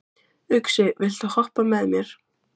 Uxi, viltu hoppa með mér?